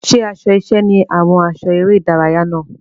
Ṣé aṣọ iṣẹ́ ni àwọn aṣọ eré-ìdárayá náà?